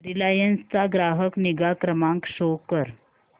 Reliance चा ग्राहक निगा क्रमांक शो कर